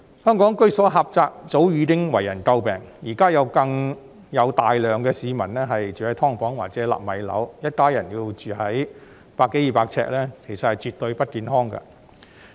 香港居所狹窄，早已為人詬病，現在更有大量市民住在"劏房"或者"納米樓"，一家人要住在百多二百平方呎的單位內，其實絕對不健康。